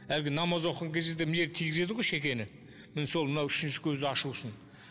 әлгі намаз оқыған кезде де мына жерге тигізеді ғой шекені міне сол мына үшінші көзді ашу үшін